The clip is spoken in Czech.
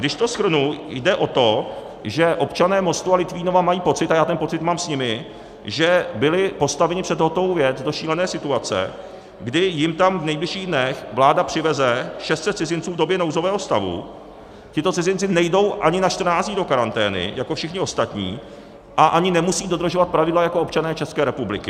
Když to shrnu, jde o to, že občané Mostu a Litvínova mají pocit, a já ten pocit mám s nimi, že byli postaveni před hotovou věc do šílené situace, kdy jim tam v nejbližších dnech vláda přiveze 600 cizinců v době nouzového stavu, tito cizinci nejdou ani na 14 dní do karantény jako všichni ostatní a ani nemusí dodržovat pravidla jako občané České republiky.